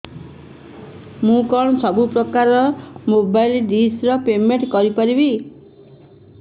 ମୁ କଣ ସବୁ ପ୍ରକାର ର ମୋବାଇଲ୍ ଡିସ୍ ର ପେମେଣ୍ଟ କରି ପାରିବି